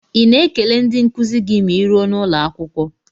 Ị na-ekele ndị nkuzi gị ma ịruo n'ụlọakwụkwọ?